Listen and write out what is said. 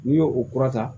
N'i y'o o kura ta